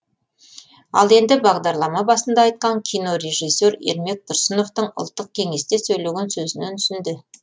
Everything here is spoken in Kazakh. ал енді бағдарлама басында айтқан кинорежиссер ермек тұрсыновтың ұлттық кеңесте сөйлеген сөзінен үзінді